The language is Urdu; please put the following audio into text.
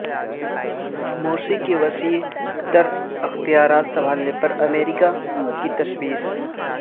مورسی کے وسیع تر اختیارات سنبھالنے پر امریکہ کی تشویش